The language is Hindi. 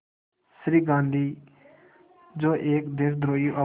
श्री गांधी जो एक देशद्रोही और